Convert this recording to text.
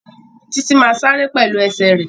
Títí má sáré pẹ̀lú ẹsẹ̀ rẹ̀